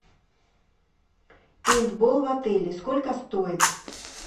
пейнтбол в отеле сколько стоит